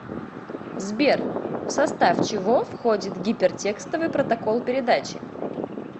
сбер в состав чего входит гипертекстовый протокол передачи